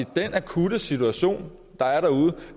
den akutte situation der er derude